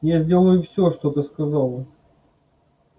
я сделаю всё что ты сказал